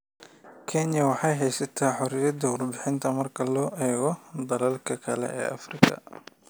Kenya waxay haysataa xoriyadda warbaahinta marka loo eego dalalka kale ee Afrika.